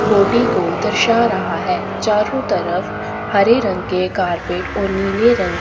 body को दर्शा रहा है चारों तरफ हरे रंग के कारपेट और नीले रंग--